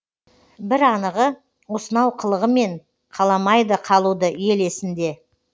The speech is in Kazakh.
бір анығы осынау қылығымен қаламайды қалуды ел есінде